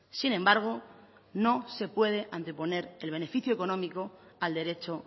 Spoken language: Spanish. sin embargo no se puede anteponer el beneficio económico al derecho